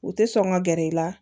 U tɛ sɔn ka gɛrɛ i la